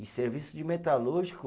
E serviço de metalúrgico